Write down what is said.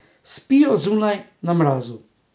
Spijo zunaj, na mrazu.